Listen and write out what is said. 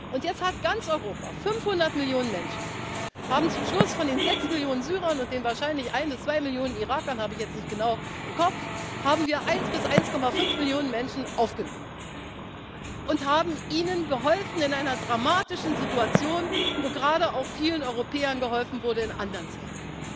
haben. Und jetzt hat ganz Europa 500 Millionen Menschen zum Schluss von den sechs Millionen Syrern und den wahrscheinlich ein bis zwei Millionen Irakern das habe ich jetzt nicht genau im Kopf haben wir eine bis 1,5 Millionen Menschen aufgenommen und haben ihnen geholfen in einer dramatischen Situation, wo gerade auch vielen Europäern geholfen wurde in anderen